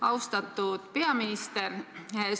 Austatud peaminister!